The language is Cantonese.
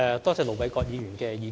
多謝盧偉國議員的意見。